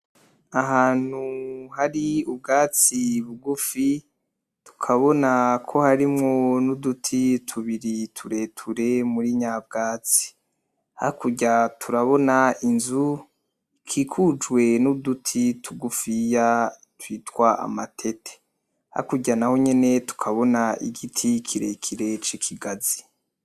Ahantu hari ubwatsi bugufi, tukabona ko harimwo n'uduti tubiri tureture muri nyabwatsi. Hakurya turabona inzu ikikujwe n'uduti tugufiya twitwa amatete. Hakurya n'aho nyene tukabona igiti kirekire c'ikigazi.